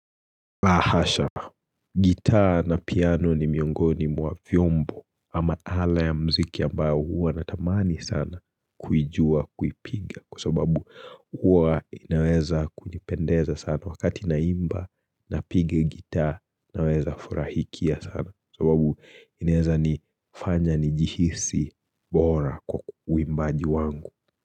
La hasha gitaa na piano ni miongoni mwa vyombo ama ala ya muziki ambayo huwa natamani sana kuijua kuipiga kwa sababu huwa inaweza kunipendeza sana wakati na imba na pigi gitaa naweza furahikia sana sababu inaweza nifanya nijihisi bora kwa uwimbaji wangu.